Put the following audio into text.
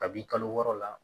Kabini kalo wɔɔrɔ la